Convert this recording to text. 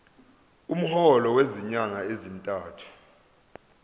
umholo wezinyanga ezintathu